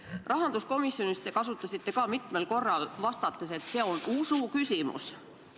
Ka rahanduskomisjonis vastates ütlesite te mitmel korral, et see on usuküsimus.